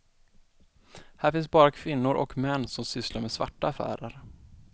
Här finns bara kvinnor och män som sysslar med svarta affärer.